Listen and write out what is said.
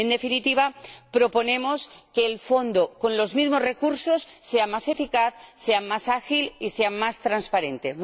En definitiva, proponemos que el Fondo, con los mismos recursos, sea más eficaz, sea más ágil y sea más transparente.